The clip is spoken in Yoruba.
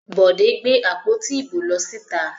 Bọ̀dé gbé àpótí ìbò lọ síta.